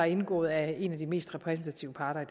indgået af en af de mest repræsentative parter i